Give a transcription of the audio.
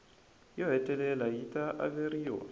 yo hetelela yi ta averiwa